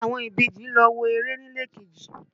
Àwọn ìbejì lọ wo eré nílé kejì.